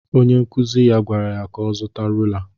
Onye nkụzi ya gwara ya ka ọ zuta rula